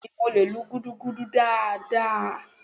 beeni, mo le lú gúdúgúdú daadaa